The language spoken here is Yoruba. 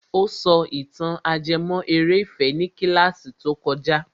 Ó sọ ìtàn ajẹmọ́ eré ìfẹ́ ní kílàsì tó kojá.